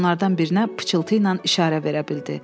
Onlardan birinə pıçıltı ilə işarə verə bildi.